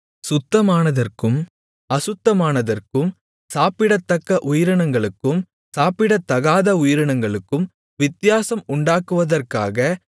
சுத்தமானதற்கும் அசுத்தமானதற்கும் சாப்பிடத்தக்க உயிரினங்களுக்கும் சாப்பிடத்தகாத உயிரினங்களுக்கும் வித்தியாசம் உண்டாக்குவதற்காக